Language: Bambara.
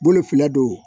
Bolo fila don